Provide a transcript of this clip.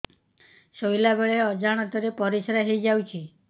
ଶୋଇଲା ବେଳେ ଅଜାଣତ ରେ ପରିସ୍ରା ହେଇଯାଉଛି